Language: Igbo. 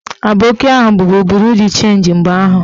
Aboki ahụ bubu buru d chenji mgbe ahụ